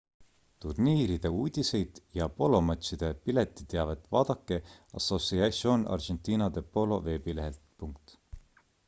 turniiride uudiseid ja polomatšide piletiteavet vaadake asociacion argentina de polo veebilehelt